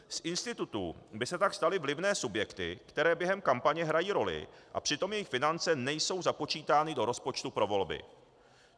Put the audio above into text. Z institutů by se tak staly vlivné subjekty, které během kampaně hrají roli, a přitom jejich finance nejsou započítány do rozpočtu pro volby.